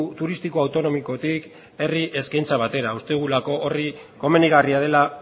turistiko autonomikotik herri eskaintza batera uste dugulako hori komenigarria dela